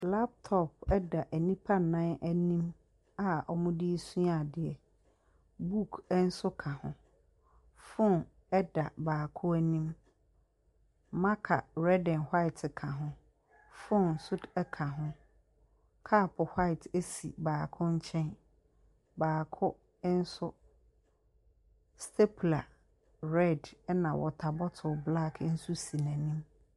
Laptop da nnipa nnan anim a wɔde ɛresua adeɛ. Book nso ka ho, phone da baako anim. Marker red and white ka ho, phone nso k ɛka ho. Cup white si baako nkyɛn, baako nso, stapler red na water bottle black nso si n’anim.